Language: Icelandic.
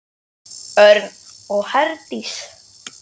Örn og Herdís.